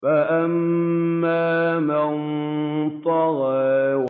فَأَمَّا مَن طَغَىٰ